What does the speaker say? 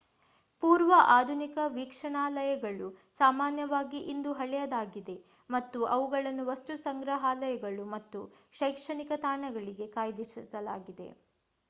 ಪೂರ್ವ-ಆಧುನಿಕ ವೀಕ್ಷಣಾಲಯಗಳು ಸಾಮಾನ್ಯವಾಗಿ ಇಂದು ಹಳೆಯದಾಗಿದೆ ಮತ್ತು ಅವುಗಳನ್ನು ವಸ್ತುಸಂಗ್ರಹಾಲಯಗಳು ಅಥವಾ ಶೈಕ್ಷಣಿಕ ತಾಣಗಳಿಗೆ ಕಾಯ್ದಿರಿಸಲಾಗಿದೆ